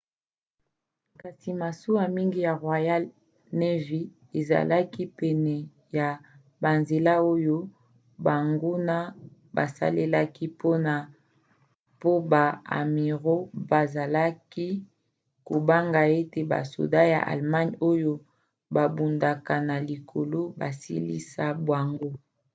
kasi masuwa mingi ya royal navy ezalaki pene ya banzela oyo banguna basalelaki po ba amiraux bazalaki kobanga ete basoda ya allemagne oyo babundaka na likolo basilisa bango